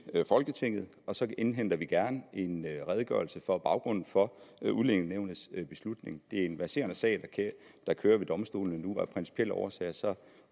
folketinget og så indhenter vi gerne en redegørelse for baggrunden for udlændingenævnets beslutning det er en verserende sag der kører ved domstolene nu og af principielle årsager